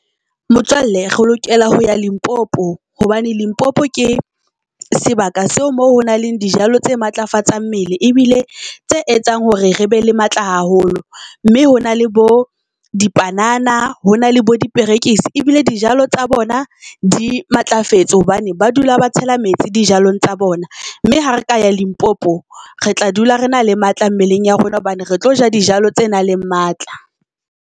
Motswalle re lokela ho ya Limpopo, hobane Limpopo ke sebaka seo moo ho nang le dijalo tse matlafatsang mmele ebile tse etsang hore re be le matla haholo. Mme ho na le bo dipanana ho na le bo diperekisi ebile dijalo tsa bona di matlafetse hobane ba dula ba tshela metsi dijalong tsa bona. Mme ha re ka ya Limpopo, re tla dula re na le matla mmeleng ya rona hobane re tlo ja dijalo tse nang le matla.